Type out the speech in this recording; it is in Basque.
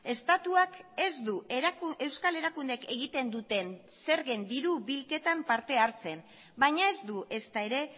estatuak ez du euskal erakundeek egiten duten zergen diru bilketan parte hartzen baina ez du ezta ere